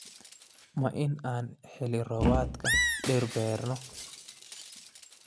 Ma in aan xilli-roobaadka dhir beerno?